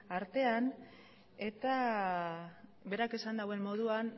artean eta berak esan duen moduan